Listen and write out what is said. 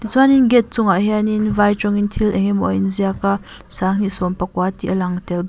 chuanin gate chungah hianin vai tawngtin thil a inziak a sanghnih sawm pakua tih a lang tel bawk.